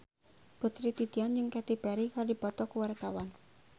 Putri Titian jeung Katy Perry keur dipoto ku wartawan